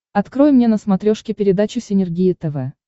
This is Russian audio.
открой мне на смотрешке передачу синергия тв